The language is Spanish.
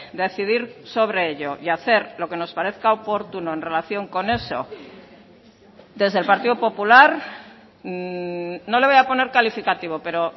decidir sobre ello y hacer lo que nos parezca oportuno en relación con eso desde el partido popular no le voy a poner calificativo pero